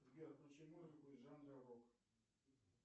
сбер включи музыку из жанра рок